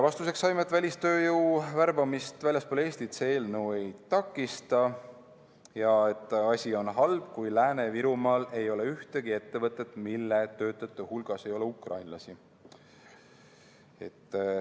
Vastuseks saime teada, et välistööjõu värbamist väljaspool Eestit see eelnõu ei takista ja et asi on halb, kui Lääne-Virumaal ei ole ühtegi ettevõtet, mille töötajate hulgas ei ole ukrainlasi.